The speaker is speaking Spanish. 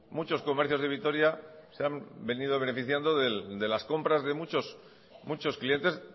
muchos comercios de vitoria se han venido beneficiando de las compras de muchos clientes